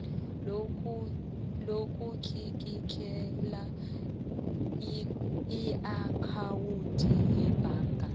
lokutlikitlela iakhawundi yebhaga